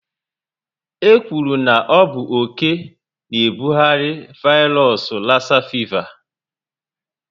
E kwuru na ọ bụ oké na ebughari vairos lassa fịva